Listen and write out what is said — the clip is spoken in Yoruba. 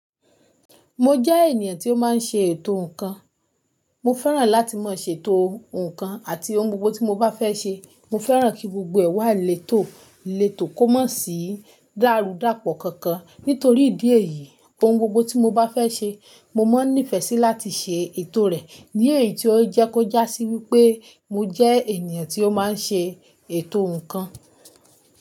Mo jẹ́ ènìyàn tí ó máa ń ṣe ètò nǹkan. Mo fẹ́ràn láti máa ṣe ètò nǹkan àti ohun gbogbo tí mo bá fẹ́ ṣe, mo fẹ́ràn kí gbogbo ẹ̀ wá lèto leto kó mọ̀ sí dárudapo kankan. Nítorí ìdí èyí, ohun gbogbo tí mo bá fẹ́ ṣe, mo máa nífẹ̀ẹ́ sí láti ṣe ètò rẹ̀. Ni èyí tí ó jẹ́ kó jásí wípé mo jẹ́ ènìyàn tí ó máa ń ṣe ètò nǹkan.